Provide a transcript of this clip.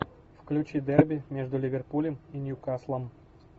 включи дерби между ливерпулем и ньюкаслом